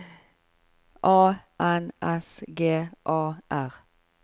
A N S G A R